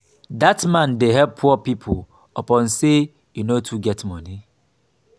dat man dey help poor pipo upon sey e no too get moni.